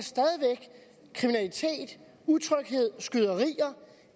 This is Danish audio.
kriminalitet utryghed skyderier